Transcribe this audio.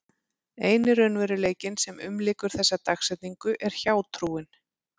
Eini raunveruleikinn sem umlykur þessa dagsetningu er hjátrúin.